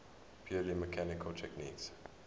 purely mechanical techniques